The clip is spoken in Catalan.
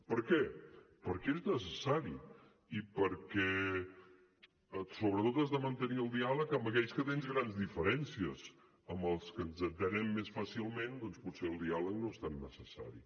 per què perquè és necessari i perquè sobretot has de mantenir el diàleg amb aquells amb qui tens grans diferències amb els que ens entenem més fàcilment doncs potser el diàleg no és tan necessari